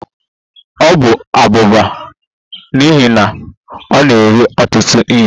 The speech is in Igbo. Ọ bụ abụba n'ihi na ọ na-eri ọtụtụ ihe